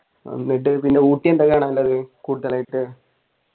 എന്നിട്ട് പിന്നെ ഊട്ടി എന്താ കാണാനുള്ളത് കൂടുതലായിട്ട്